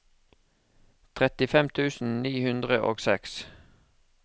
trettifem tusen ni hundre og seks